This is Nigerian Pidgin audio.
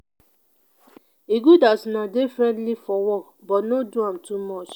e good as una dey friendly for work but no do am too much.